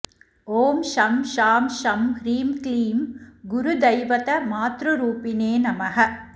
ॐ शं शां षं ह्रीं क्लीं गुरुदैवतमातृरूपिणे नमः